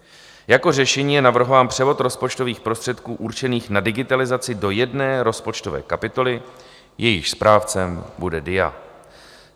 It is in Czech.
Jako řešení je navrhován převod rozpočtových prostředků určených na digitalizaci do jedné rozpočtové kapitoly, jejíž správcem bude DIA.